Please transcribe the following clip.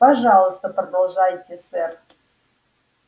пожалуйста продолжайте сэр